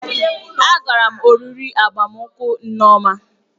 Agara m oriri agbamakwụkwọ nneoma